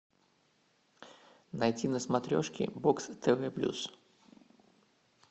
найти на смотрешке бокс тв плюс